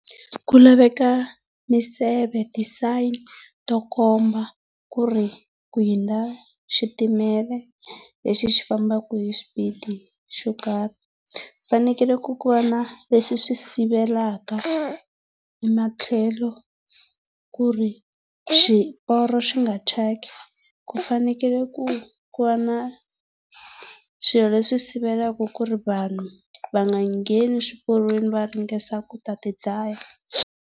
Ku laveka miseve ti-sign to komba ku ri ku hundza xitimela lexi xi fambaka hi xipidi xo karhi. Ku fanekele ku ku va na swi swi sivelaka ematlhelo ku ri swiporo swi nga thyaki. Ku fanekele ku ku va na swilo leswi sivelaka ku ri vanhu va nga ngheni swiporweni va ringesa ku ta ti dlaya.